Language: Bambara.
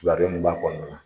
Tuma bɛɛ nin b'a kɔnɔna na.